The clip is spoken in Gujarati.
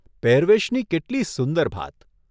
પહેરવેશની કેટલી સુંદર ભાત !